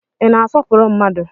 Ị na-asọpụrụ mmadu?